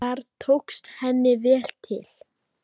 Þar tókst henni vel til.